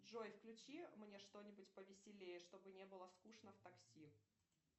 джой включи мне что нибудь повеселее чтобы не было скучно в такси